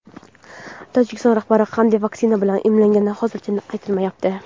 Tojikiston rahbari qanday vaksina bilan emlangani hozircha aytilmayapti.